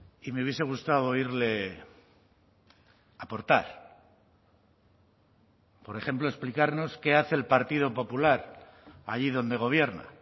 y me hubiese gustado oírle aportar por ejemplo explicarnos qué hace el partido popular allí donde gobierna